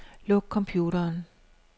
Luk computeren.